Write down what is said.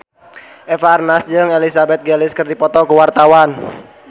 Eva Arnaz jeung Elizabeth Gillies keur dipoto ku wartawan